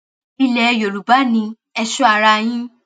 ilẹ yorùbá ni ẹ sọ ara yín